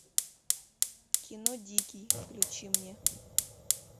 кино дикий включи мне